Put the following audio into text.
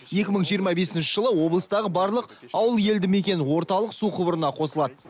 екі мың жиырма бесінші жылы облыстағы барлық ауыл елдімекен орталық су құбырына қосылады